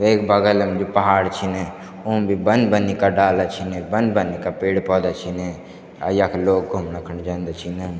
वेक बगल म भी पहाड़ छिन उम भी बन-बनी का डाला छिन बन-बनी का पेड़ पौधा छिन अ यख लोग घुमणु कुन जन्दा छिन।